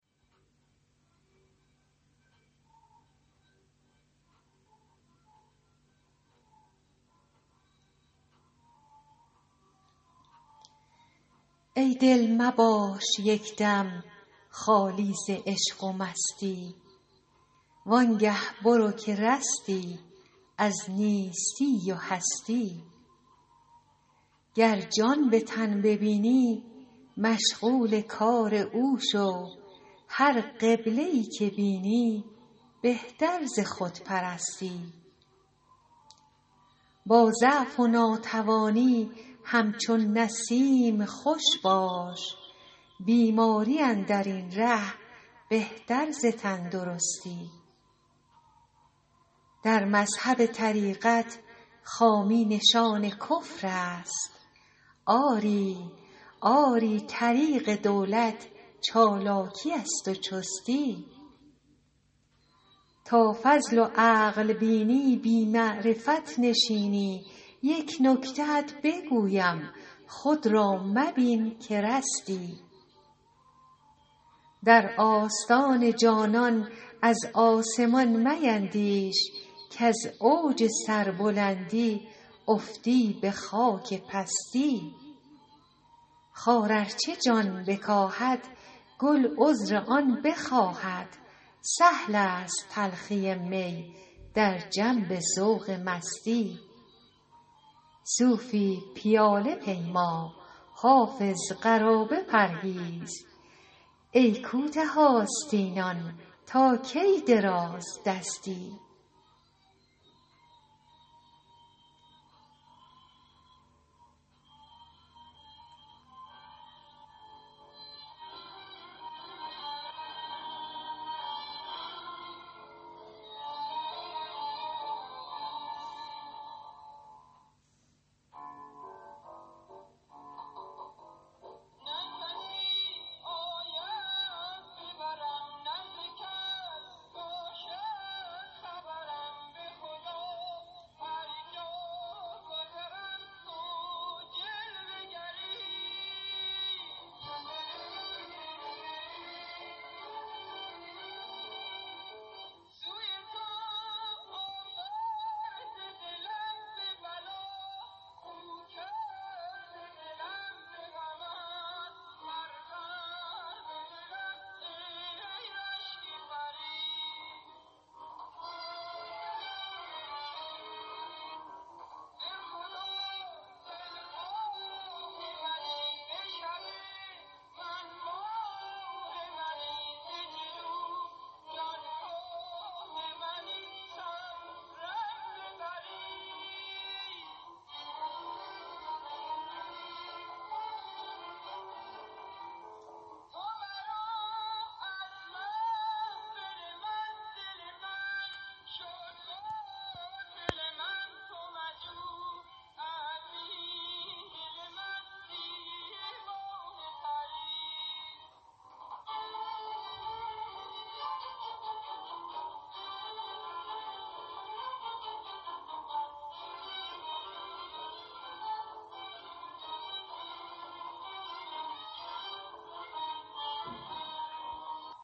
ای دل مباش یک دم خالی ز عشق و مستی وان گه برو که رستی از نیستی و هستی گر جان به تن ببینی مشغول کار او شو هر قبله ای که بینی بهتر ز خودپرستی با ضعف و ناتوانی همچون نسیم خوش باش بیماری اندر این ره بهتر ز تندرستی در مذهب طریقت خامی نشان کفر است آری طریق دولت چالاکی است و چستی تا فضل و عقل بینی بی معرفت نشینی یک نکته ات بگویم خود را مبین که رستی در آستان جانان از آسمان میندیش کز اوج سربلندی افتی به خاک پستی خار ار چه جان بکاهد گل عذر آن بخواهد سهل است تلخی می در جنب ذوق مستی صوفی پیاله پیما حافظ قرابه پرهیز ای کوته آستینان تا کی درازدستی